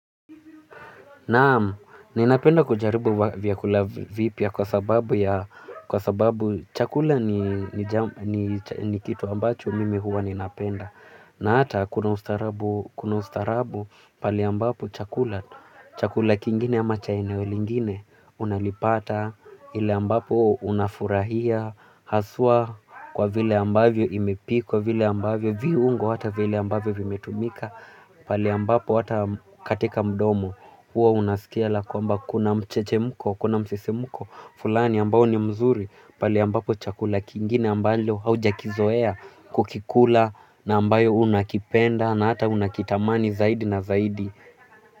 Naam, ninapenda kujaribu vyakula vipya kwa sababu ya kwa sababu chakula ni kitu ambacho mimi huwa ninapenda na hata kuna ustarabu kuna ustaarabu pale ambapo chakula, chakula kingine ama cha eneo lingine unalipata ile ambapo unafurahia, haswa kwa vile ambavyo imepikwa vile ambavyo viungo hata vile ambavyo vimetumika pale ambapo hata katika mdomo huwa unasikia la kwamba kuna mchechemko kuna msisimko fulani ambao ni mzuri pale ambapo chakula kingine ambalo haujakizoea kukikula na ambayo unakipenda na hata unakitamani zaidi na zaidi.